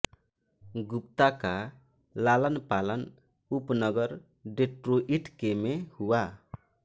गुप्ता का लालनपालन उपनगर डेट्रोइट के में हुआ